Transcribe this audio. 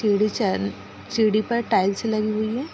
सीढ़ी चान सीढ़ी पर टाइल्स लगी हुई है।